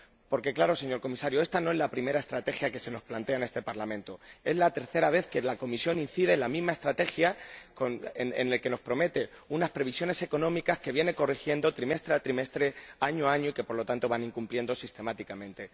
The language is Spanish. Porque, claro, señor Comisario, esta no es la primera estrategia que se nos plantea en este Parlamento es la tercera vez que la Comisión incide en la misma estrategia, que nos promete unas previsiones económicas que viene corrigiendo trimestre tras trimestre, año tras año y que, por lo tanto, se van incumpliendo sistemáticamente.